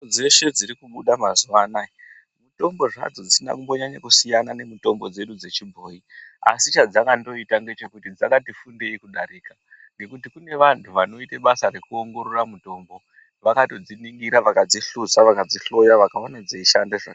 Dzeshe dzirikubuda mazuwanaya, mitombo zwadzo dzisinambonyanyo kusiyana nemitombo dzedu dzechibhoyi. Asi chadzakandoyita ndechekuti dzakatifundeyi kudarika , nekuti kunevanhu vanoyite basa rekuwongorora mutombo. Vakanodziningira , vakadzihluza, vakadzihloya, vakawona dziyishanda.